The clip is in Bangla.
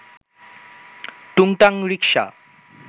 টুংটাং রিকশা